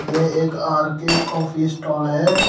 यह एक R K coffee stall है।